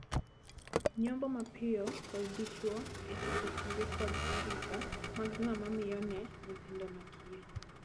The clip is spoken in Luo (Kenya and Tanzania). Nyombo mapiyo konyo dichwo e chopo tije kod arita mag ng'ama miyo ne nyithindo makiye.